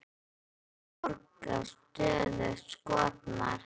En eftir það var borgin stöðugt skotmark.